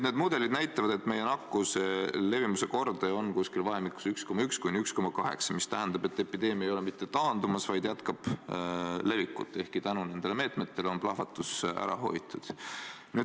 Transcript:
Need mudelid näitavad, et meie nakkuse levimuskordaja on vahemikus 1,1–1,8, mis tähendab, et epideemia ei ole mitte taandumas, vaid jätkab levikut, ehkki tänu nendele meetmetele on plahvatus ära hoitud.